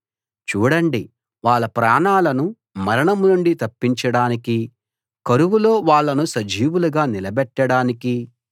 చూడండి వాళ్ళ ప్రాణాలను మరణం నుండి తప్పించడానికీ కరువులో వాళ్ళను సజీవులుగా నిలబెట్టడానికీ